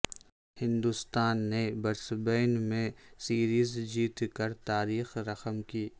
ہندوستان نے برسبین میں سیریزجیت کر تاریخ رقم کی